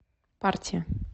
партия